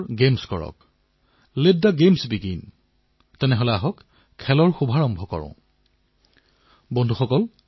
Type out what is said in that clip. বহু পৰীক্ষানিৰীক্ষাৰ পিছত ভিন্নভিন্ন শাখাত প্ৰায় দুই ডজন এপক বঁটা প্ৰদান কৰা হৈছে